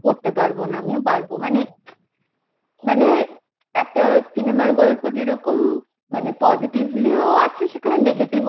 করতে পারব না আমিও পারব মানে একটা cinema র গল্প যেরকম মানে positively ও আছে সেখানে negative ও